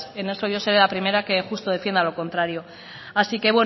en esto yo soy a primeras justo defienda lo contrario así que